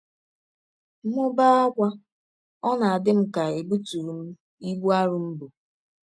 M bee ákwá, ọ na - adị m ka è bụtụrụ m ibụ arọ m bụ.